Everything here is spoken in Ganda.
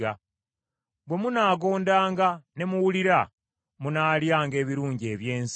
Bwe munaagondanga ne muwulira, munaalyanga ebirungi eby’ensi;